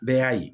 Bɛɛ y'a ye